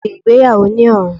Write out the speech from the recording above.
A ṣe igbeyawo ni ọrun